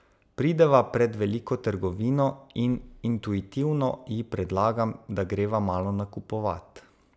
Prideva pred veliko trgovino in intuitivno ji predlagam, da greva malo nakupovat.